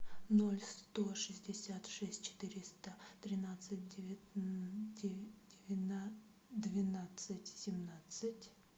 ноль сто шестьдесят шесть четыреста тринадцать двенадцать семнадцать